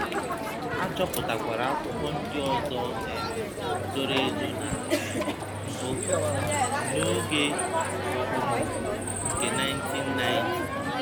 A chọpụtakwara akwụkwọ ndị ọzọ um zoro ezo na um mbụ, n'oge okpomọkụ nke 1990.